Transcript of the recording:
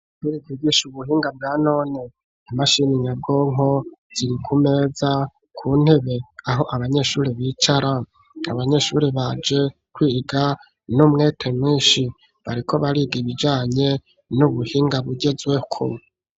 Ishuri ryigisha ubuhinga bwa none imashini nyabwonko ziri ku meza ku ntebe aho abanyeshuri bicara abanyeshuri baje kwiga n'umwete mwinshi bariko bariga ibijanye n'ubuhinga bugezweko.